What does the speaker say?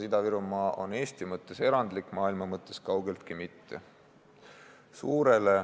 Ida-Virumaa on Eesti mõttes erandlik, maailma mõttes kaugeltki mitte.